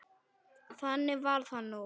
Þannig var það nú.